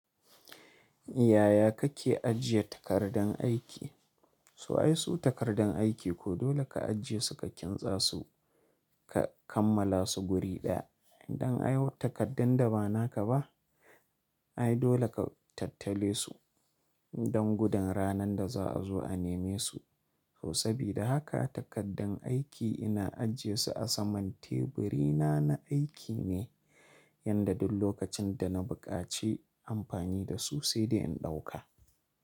Yaya kake ajiye takardan aiki? So ai su takardan aiki ko dole ka ajiye su ka kintsa su, ka kammala su guri ɗaya. Idan ayi takardan da ba naka ba, ai dole ka tattale su don gudun ranan da za a zo a neme su. Sabida haka takardan aiki ina ajiye su a saman teburi na na aiki ne yanda duk lokacin da na buƙaci amfani da su sai dai in ɗauka.